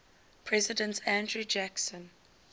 president andrew jackson